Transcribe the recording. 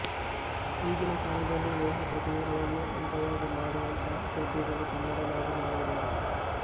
ಈಗಿನ ಕಾಲದಲ್ಲೂ ಲೋಹ ಪ್ರತಿಮೆಗಳನ್ನೂ ಅಂದವಾಗಿ ಮಾಡುವಂತಹ ಶಿಲ್ಪಿಗಳು ಕನ್ನಡ ನಾಡಿನಲ್ಲಿ ಇರುವರು